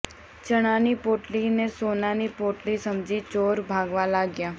ચણા ની પોટલી ને સોનાની પોટલી સમજી ચોર ભાગવા લાગ્યા